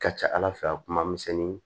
Ka ca ala fɛ a kuma misɛnnin